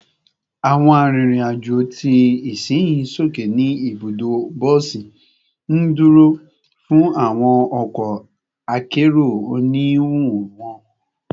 Awọn arinrin-ajo ti isinyi soke ni ibudo bosi, nduro fun awọn ọkọ akero oniwun wọn